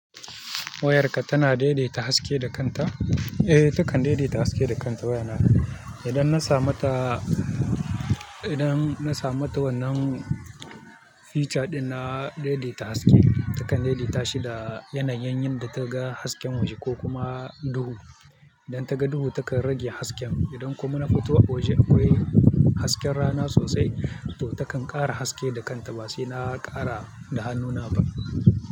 Wayarka tana daidaita haske da kanta, eh takan daidaita haske da kanta wayana. Idan na samata, idan na samata wannan feature ɗin na daidaita haske, takan daidaita shi da yanayin yadda take ga hasken waje ko kuma duhu. Idan ta ga duhu takan rage haske, idan kuma na fito a waje akwai hasken rana sosai, to takan ƙara haske da kanta ba sai na ƙara da hannuna ba.